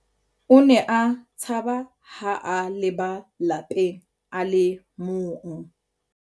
O ne a tshaba ha a leba lapeng a le mong.